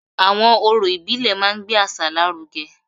Àwọn orò ìbílẹ̀ máa ń gbé àṣà lárugẹ